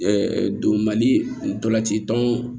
don mali ntolan ci tɔn